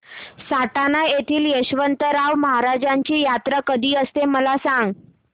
सटाणा येथील यशवंतराव महाराजांची यात्रा कशी असते मला सांग